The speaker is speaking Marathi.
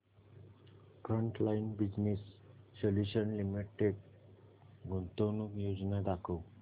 फ्रंटलाइन बिजनेस सोल्यूशन्स लिमिटेड गुंतवणूक योजना दाखव